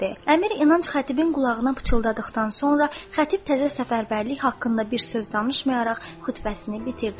Əmir İnanc xətibin qulağına pıçıldadıqdan sonra xətib təzə səfərbərlik haqqında bir söz danışmayaraq xutbəsini bitirdi.